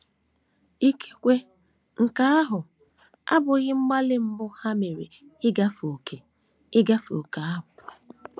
Ikekwe nke ahụ abụghị mgbalị mbụ ha mere ịgafe ókè ịgafe ókè ahụ.